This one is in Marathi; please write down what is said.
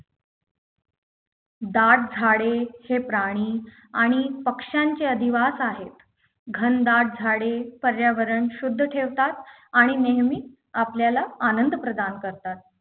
दाट झाडे हे प्राणी आणि पक्ष्यांचे अधिवास आहेत घनदाट झाडे पर्यावरण शुद्ध ठेवतात आणि नेहमी आपल्याला आनंद प्रदान करतात